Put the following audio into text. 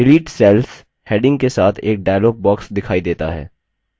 delete cells heading के साथ एक dialog box दिखाई देता है